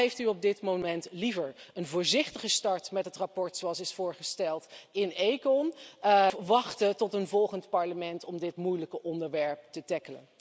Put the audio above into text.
Wat heeft u op dit moment liever een voorzichtige start met het verslag zoals is voorgesteld in ECON of wachten tot een volgend Parlement om dit moeilijke onderwerp te behandelen?